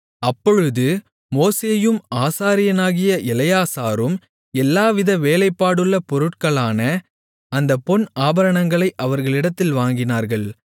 அப்பொழுது மோசேயும் ஆசாரியனாகிய எலெயாசாரும் எல்லாவித வேலைப்பாடுள்ள பொருட்களான அந்தப் பொன் ஆபரணங்களை அவர்களிடத்தில் வாங்கினார்கள்